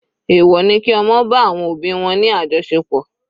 Èwọ̀ ni kí ọmọ bá àwọn òbí wọn ní àjọṣepọ̀.